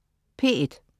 P1: